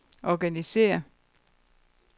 organisér